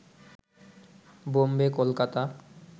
Bombay Kolkata